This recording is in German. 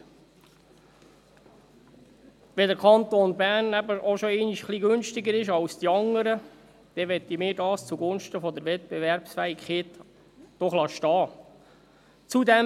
Wenn der Kanton Bern schon einmal ein wenig günstiger ist als die anderen, dann möchten wir das zugunsten der Wettbewerbsfähigkeit doch stehen lassen.